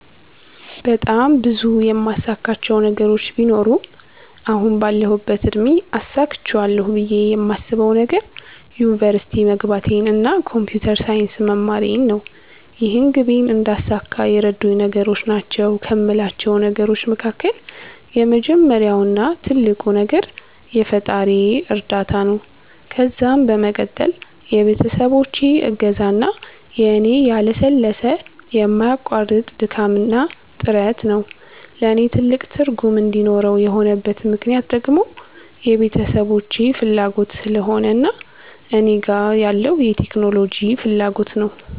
በጣም ብዙ የማሳካቸው ነገሮች ቢኖሩም አሁን ባለሁበት እድሜ አሳክቸዋለሁ ብየ የማስበዉ ነገር ዩኒቨርሲቲ መግባቴን እና ኮንፒተር ሳይንስ መማሬን ነው። ይህንን ግቤን እንዳሳካ የረዱኝ ነገሮች ናቸዉ ከሞላቸው ነገሮች መካከል የመጀመሪያው እና ትልቁ ነገር የፈጣሪየ እርዳታ ነዉ ከዛም በመቀጠል የቤተሰቦቼ እገዛ እና የኔ ያለሰለሰ የማያቋርጥ ድካምና ጥረት ነዉ። ለኔ ትልቅ ትርጉም እንዲኖረው የሆነበት ምክነያት ደግሞ የቤተሰቦቼ ፋላጎት ስለሆነ እና እኔ ጋር ያለዉ የቴክኖሎጂ ፋላጎት ነዉ።